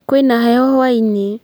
Kwĩ na heho hwa-inĩ